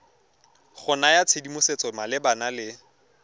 go naya tshedimosetso malebana le